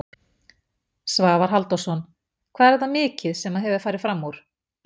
Svavar Halldórsson: Hvað er þetta mikið sem að hefur farið framúr?